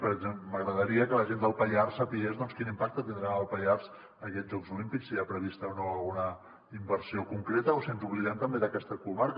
per exemple m’agradaria que la gent del pallars sabés quin impacte tindran al pallars aquests jocs olímpics si hi ha prevista o no alguna inversió concreta o si ens oblidem també d’aquesta comarca